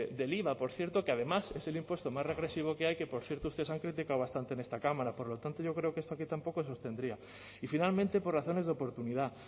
del iva por cierto que además es el impuesto más regresivo que hay que por cierto ustedes han criticado bastante en esta cámara por lo tanto yo creo que esto aquí tampoco se sostendría y finalmente por razones de oportunidad